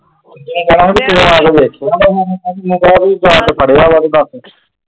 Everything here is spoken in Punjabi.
,